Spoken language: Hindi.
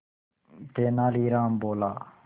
तेनालीराम बोला